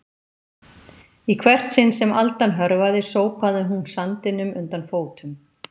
Í hvert sinn sem aldan hörfaði sópaði hún sandinum undan fótum